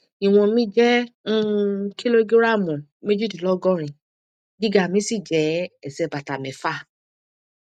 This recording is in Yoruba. ìwọn mi jẹ um kìlógíráàmù méjìdínlọgọrin gíga mi sì jẹ ẹsẹ bàtà mẹfà